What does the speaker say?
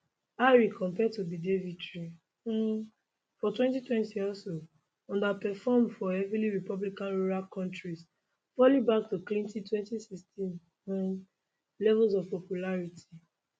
harris compared to biden victory um for 2020 also underperform for heavily republican rural counties falling back to clinton 2016 um levels of popularity